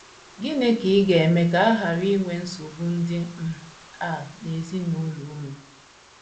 Gịnị ka ị ga - eme ka a ghara inwe nsogbu ndị um a n’ezinụlọ unu?